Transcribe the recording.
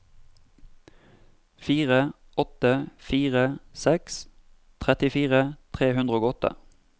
fire åtte fire seks trettifire tre hundre og åtte